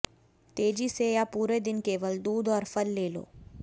तेजी से या पूरे दिन केवल दूध और फल ले लो